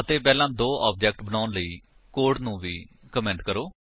ਅਤੇ ਪਹਿਲਾਂ ਦੋ ਆਬਜੇਕਟ ਬਣਾਉਣ ਲਈ ਕੋਡ ਨੂੰ ਵੀ ਕਮੇਂਟ ਕਰੋ